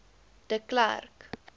de klerk